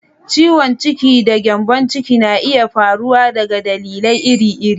Ciwon ciki da gyambon ciki na iya faruwa daga dalilai iri-iri.